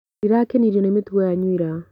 Ndirakenirio nĩ mĩtugo yanyu ya ira.